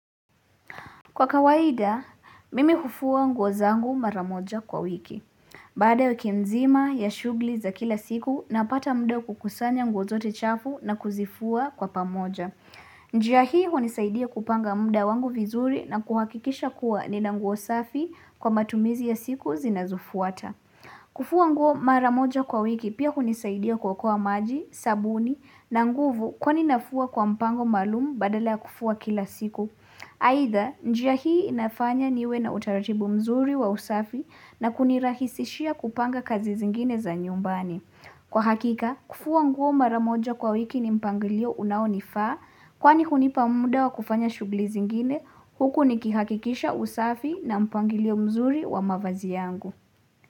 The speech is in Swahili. Kwa kawaida, mimi hufua nguo zangu mara moja kwa wiki. Baada ya wiki mzima ya shughuli za kila siku, napata muda wa kukusanya nguo zote chafu na kuzifua kwa pamoja. Njia hii hunisaidia kupanga muda wangu vizuri na kuhakikisha kuwa nina nguo safi kwa matumizi ya siku zinazofuata. Kufua nguo mara moja kwa wiki pia hunisaidia kuokoa maji, sabuni na nguvu kwani nafua kwa mpango maalumu badala ya kufua kila siku. Aidha, njia hii inafanya niwe na utaratibu mzuri wa usafi na kunirahisishia kupanga kazi zingine za nyumbani. Kwa hakika, kufua nguo mara moja kwa wiki ni mpangilio unaonifaa kwani hunipa muda wa kufanya shughuli zingine, huku nikihakikisha usafi na mpangilio mzuri wa mavazi yangu.